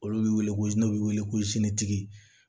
Olu bɛ wele ko n'u bɛ wele ko tigi